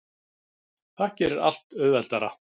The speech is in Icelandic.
Það gerir allt auðveldara.